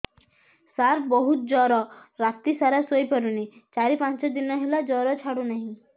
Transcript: ସାର ବହୁତ ଜର ରାତି ସାରା ଶୋଇପାରୁନି ଚାରି ପାଞ୍ଚ ଦିନ ହେଲା ଜର ଛାଡ଼ୁ ନାହିଁ